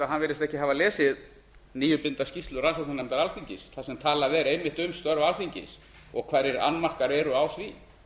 hann virðist ekki hafa lesið nýútdeilda skýrslu rannsóknarnefndar alþingis þar sem talað er einmitt um störf alþingis og hverjir annmarkar eru á því